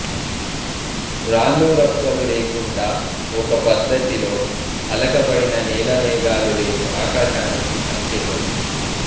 రాళ్ళూ రప్పలూ లేకుండా ఒక పద్ధతిలో అలకబడిన నేల మేఘాలు లేని ఆకాశానికి సంకేతం